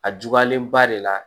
A juguyalen ba de la